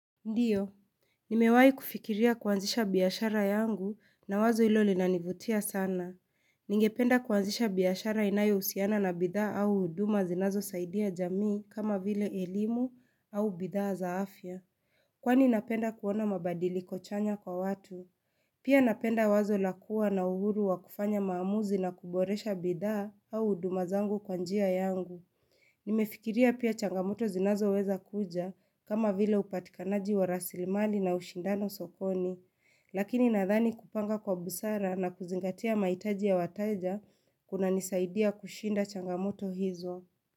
Ndiyo. Nimewahi kufikiria kuanzisha biashara yangu na wazo hilo linanivutia sana. Ningependa kuanzisha biashara inayohusiana na bidhaa au huduma zinazosaidia jamii kama vile elimu au bidhaa za afya. Kwani napenda kuona mabadiliko chanya kwa watu? Pia napenda wazo la kuwa na uhuru wa kufanya maamuzi na kuboresha bidhaa au huduma zangu kwa njia yangu. Nimefikiria pia changamoto zinazoweza kuja kama vile upatikanaji wa rasilimali na ushindano sokoni, lakini nadhani kupanga kwa busara na kuzingatia mahitaji ya wateja kunanisaidia kushinda changamoto hizo.